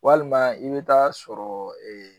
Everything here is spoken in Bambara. Walima i bɛ taa sɔrɔ